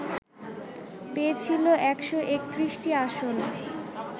পেয়েছিল ১৩১টি আসন